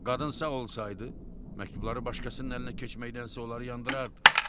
Qadın sağ olsaydı, məktubları başqasının əlinə keçməkdənsə onları yandırardı.